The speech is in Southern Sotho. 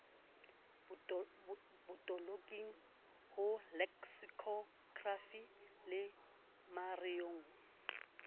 botoloking ho leksikhokrafi le mareong